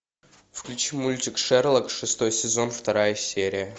включи мультик шерлок шестой сезон вторая серия